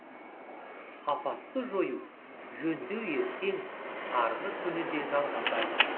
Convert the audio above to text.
апатты жою жөндеу ертең арғы күні де жалғасады